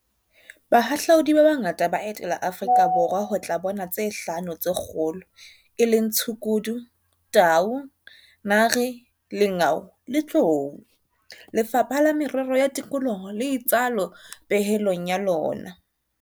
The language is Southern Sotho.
Bahahlaudi ba bangata ba etela Aforika Borwa ho tla bona tse Hlano tse Kgolo, e leng tshukudu, tau, nare, lengau le tlou, Lefapha la Merero ya Tikoloho le itsalo pehelong ya lona.